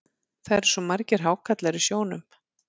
Það eru svo margir hákarlar í sjónum.